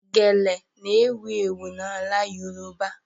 Gele n'ewu ewu n'ala yoruba